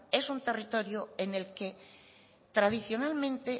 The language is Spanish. es un territorio en el que tradicionalmente